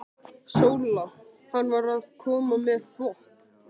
SÓLA: Hann var að koma með þvott.